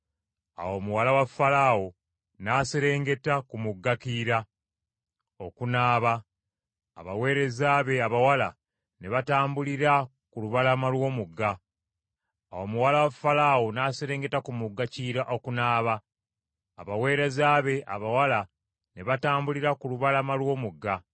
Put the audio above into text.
Awo muwala wa Falaawo n’aserengeta ku mugga Kiyira okunaaba; abaweereza be abawala ne batambulira ku lubalama lw’omugga; muwala wa Falaawo n’alaba ekibaya mu bitoogo, n’atuma omu ku bawala okukikima, n’akireeta.